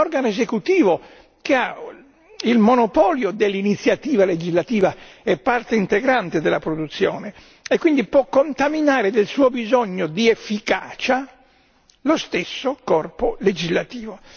anche l'organo esecutivo che ha il monopolio dell'iniziativa legislativa è parte integrante della produzione e quindi può contaminare del suo bisogno di efficacia lo stesso corpo legislativo.